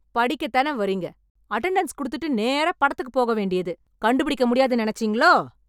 படிக்கத் தானே வரீங்க, அட்டெண்டன்ஸ் கொடுத்துட்டு நேரா படத்துக்குப் போக வேண்டியது, கண்டுபிடிக்க முடியாதுன்னு நினைச்சீங்களோ!